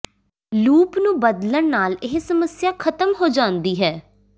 loop ਨੂੰ ਬਦਲਣ ਨਾਲ ਇਹ ਸਮੱਸਿਆ ਖਤਮ ਹੋ ਜਾਂਦੀ ਹੈ